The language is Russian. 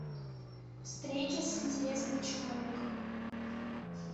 встреча с интересным человеком